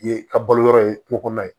Ye ka balo yɔrɔ ye kungo kɔnɔ ye